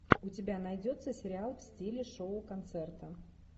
у тебя найдется сериал в стиле шоу концерта